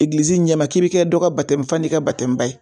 Egilizi ɲɛma k'i be kɛ dɔ ka batemufa n'i ka batɛmuba ye